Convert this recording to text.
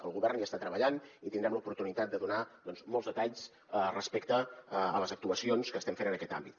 el govern hi està treballant i tindrem l’oportunitat de donar molts detalls respecte a les actuacions que estem fent en aquest àmbit